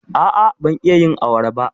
A'a, ban iya yin awara ba.